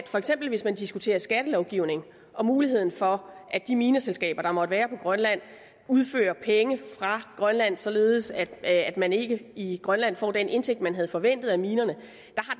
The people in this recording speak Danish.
hvis man diskuterer skattelovgivning og muligheden for at de mineselskaber der måtte være på grønland udfører penge fra grønland således at at man ikke i grønland får den indtægt man havde forventet af minerne